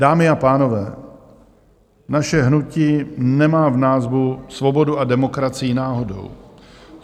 Dámy a pánové, naše hnutí nemá v názvu svobodu a demokracii náhodou.